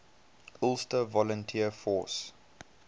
ulster volunteer force